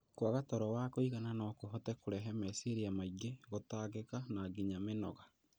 Kwaga toro wa kũigana no kũhote kũrehe meciria maingĩ, gũtangĩka na nginya mĩnoga.